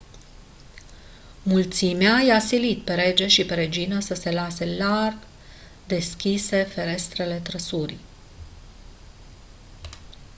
mulțimea i-a silit pe rege și pe regină să lase larg deschise ferestrele trăsurii